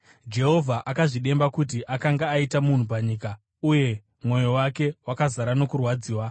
Jehovha akazvidemba kuti akanga aita munhu panyika, uye mwoyo wake wakazara nokurwadziwa.